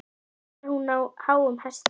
Samt var hún á háum hesti.